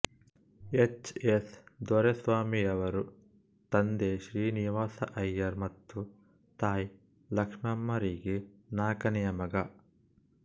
H S ದೊರೆಸ್ವಾಮಿಯವರು ತಂದೆ ಶ್ರೀನಿವಾಸ ಅಯ್ಯರ್ ಮತ್ತು ತಾಯಿ ಲಕ್ಷ್ಮಮ್ಮರಿಗೆ ನಾಲ್ಕನೆಯ ಮಗ